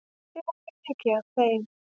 Ég lærði mikið af þeim.